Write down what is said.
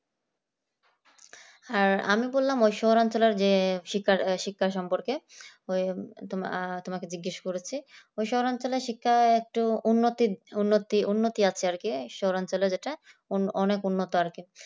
আর আমি বললাম যে শহর অঞ্চলের শিক্ষার সম্বন্ধে ওই তোমার তোমাকে জিজ্ঞেস করেছি শহরাঞ্চলের শিক্ষা একটু উন্নতির উন্নতি উন্নতি আছে অঞ্চলের এটাই অনেক উন্নত আর কি